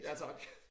Ja tak